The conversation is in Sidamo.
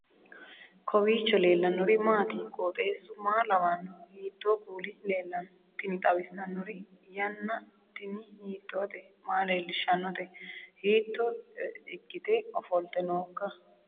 kowiicho leellannori maati ? qooxeessu maa lawaanno ? hiitoo kuuli leellanno ? tini xawissannori yanna tini hiitoote maa leellishshannote hiitto ikkite ofolte nooikka